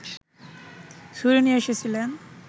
ছুরি নিয়ে এসেছিলেন